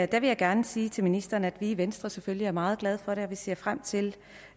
der vil jeg gerne sige til ministeren at vi i venstre selvfølgelig er meget glade for det og vi ser frem til